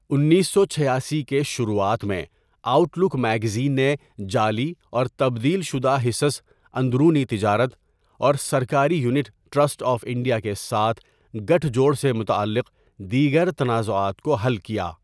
انیس سو چھیاسی کے شروعات میں، آؤٹ لک میگزین نے جعلی اور تبدیل شدہ حصص، اندرونی تجارت، اور سرکاری یونٹ ٹرسٹ آف انڈیا کے ساتھ گٹھ جوڑ سے متعلق دیگر تنازعات کو حل کیا۔